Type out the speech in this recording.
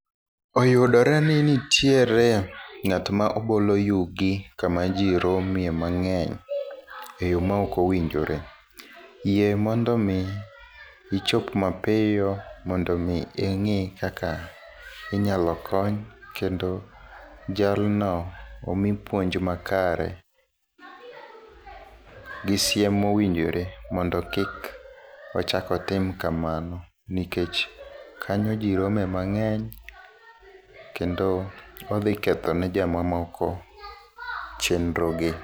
Oyudore ni nitiere ngát ma bolo yugi kama ji rome mangény e yo ma ok owinjore. Yie mondo omi ichop mapiyo mondo omi ingí kaka inyalo kony, kendo jalno omi puonj makare, gisiem mowinjore mondo kik ochak otim kamano nikech kanyo ji rome mangény kendo odhi kethone jomamoko chenro gi.